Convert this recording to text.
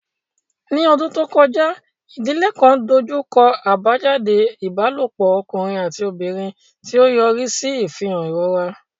Ní ọdún tó kọjá, ìdílé kan dojú kọ àbájáde ìbálòpọ̀ ọkùnrin àti obìnrin, tí ó yọrí sí ìfihàn ìrora.